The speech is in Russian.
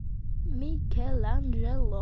микеланджело